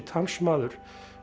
talsmaður